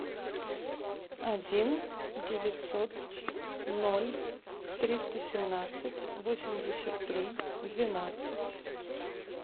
один девятьсот ноль триста семнадцать восемьдесят три двенадцать